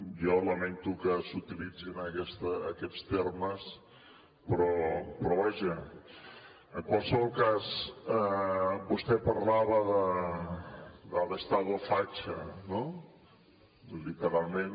jo lamento que s’utilitzin aquests termes però vaja en qualsevol cas vostè parlava de l’ estado facha no literalment